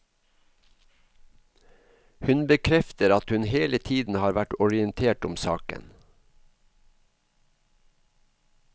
Hun bekrefter at hun hele tiden har vært orientert om saken.